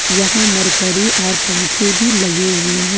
यहां मरकरी और पंखे भी लगे हुए हैं।